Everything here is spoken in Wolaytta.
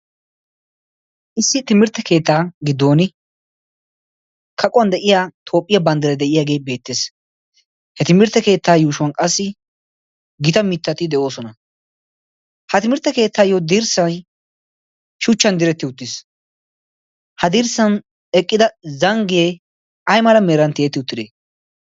issi timirtte keettaa giddon kaquwan de'iya toophphiyaa banddira de'iyaagee beettees he timirtte keettaa yuushuwan qassi gita mittati de'oosona ha timirtte keettaayyo dirssay shuchchan diretti uttiis ha dirssan eqqida zanggiyee ay mala meeran tiyetti uttidee